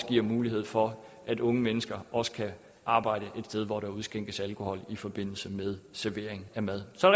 giver mulighed for at unge mennesker også kan arbejde et sted hvor der udskænkes alkohol i forbindelse med servering af mad så